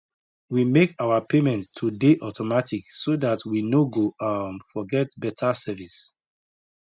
we make our payment to dey automatic so dat we no go um forget betta service